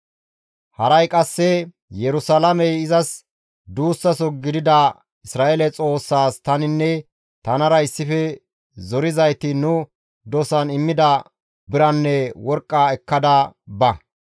Haray qasse Yerusalaamey izas duussaso gidida Isra7eele Xoossaas taninne tanara issife zorizayti nu dosan immida biranne worqqa ekkada ba.